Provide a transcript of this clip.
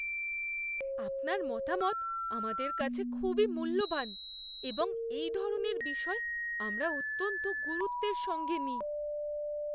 আপনার মতামত আমাদের কাছে খুবই মূল্যবান এবং এই ধরনের বিষয় আমরা অত্যন্ত গুরুত্বের সঙ্গে নিই।